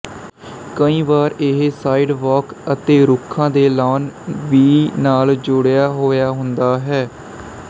ਕਈ ਵਾਰ ਇਹ ਸਾਈਡਵਾਕ ਅਤੇ ਰੁੱਖਾਂ ਦੇ ਲਾਅਨ ਵੀ ਨਾਲ ਜੁੜਿਆ ਹੋਇਆ ਹੁੰਦਾ ਹੈ